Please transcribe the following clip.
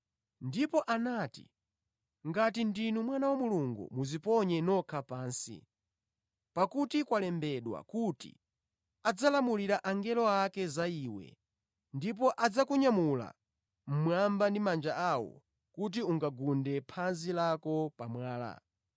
Ndipo anati, “Ngati ndinu Mwana wa Mulungu, dziponyeni nokha pansi. Pakuti kwalembedwa: “ ‘Adzalamulira angelo ake za iwe, ndipo adzakunyamula ndi manja awo kuti phazi lako lisagunde pa mwala.’ ”